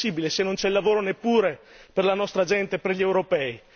Come è possibile se non c'è lavoro neppure per la nostra gente, per gli europei?